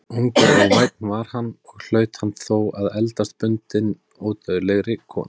Ungur og vænn var hann, og hlaut hann þó að eldast bundinn ódauðlegri konu.